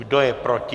Kdo je proti?